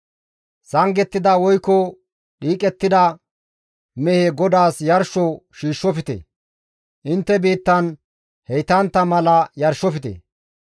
Sangettida woykko dhiiqettida mehe GODAAS yarsho shiishshofte; intte biittan heytantta mala yarshofte.